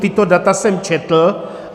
Tato data jsem četl.